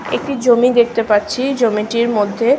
একটি জমি দেখতে পাচ্ছি জমিটির মধ্যে--